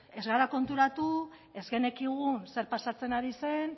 ez gara konturatu ez genekien zer pasatzen ari zen